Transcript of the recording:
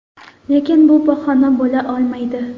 Lekin bu bahona bo‘la olmaydi.